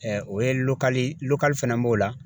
o ye fɛnɛ b'o la